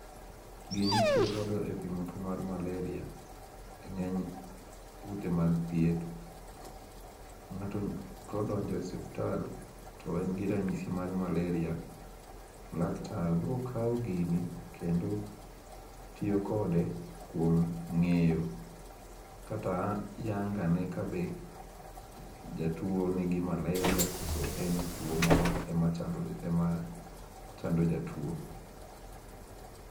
Gini itiyo godo e pimo tuo mar malaria eng'eny ute mag thieth. Ng'ato kodonjo osiptal to en gi ranyisi mar malaria, laktar biro kawo gini kendo tiyo kode kuom ng'eyo kata yango ane ka be jatuo nigi malaria kose tuo moro ema chando jatuo.